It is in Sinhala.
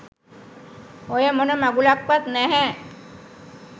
ඔය මොන මගුලක්වත් නැහැ.